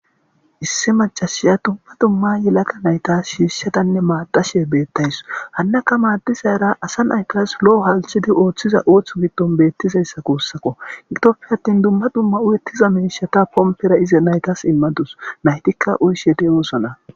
Issi maccashiya dumma dumma yelagga naytta shishshadanne maadashe bettawussu hanakka maadizara assa nattas lo'o halchchidi oththiza ootho giidon bettizayssa guussako giddoppe aatin duuma dumma uyyetiza mishshatta pomppera nayttas immadusu nayttika uyishshe de'ossona. .